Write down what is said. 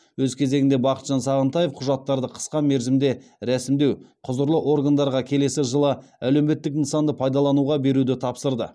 өз кезегінде бақытжан сағынтаев құжаттарды қысқа мерзімде рәсімдеу құзырлы органдарға келесі жылы әлеуметтік нысанды пайдалануға беруді тапсырды